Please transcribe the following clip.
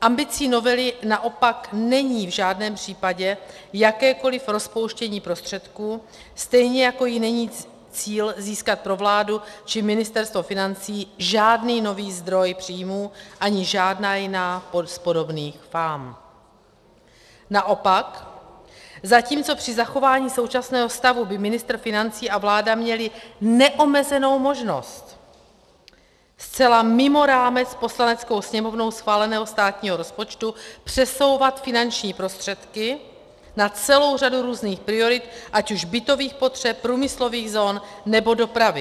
Ambicí novely naopak není v žádném případě jakékoli rozpouštění prostředků, stejně jako jí není cíl získat pro vládu či Ministerstvo financí žádný nový zdroj příjmů ani žádná jiná z podobných fám, naopak, zatímco při zachování současného stavu by ministr financí a vláda měli neomezenou možnost zcela mimo rámec Poslaneckou sněmovnou schváleného státního rozpočtu přesouvat finanční prostředky na celou řadu různých priorit, ať už bytových potřeb, průmyslových zón, nebo dopravy.